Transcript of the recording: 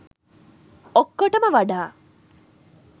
ඔක්කොටම වඩා